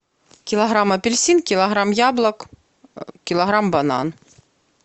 килограмм апельсин килограмм яблок килограмм банан